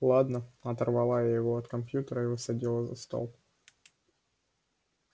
ладно оторвала я его от компьютера и усадила за стол